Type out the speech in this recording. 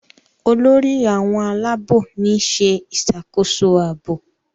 Olórí àwọn Àlàabò ni ṣe ìṣàkóso ààbò.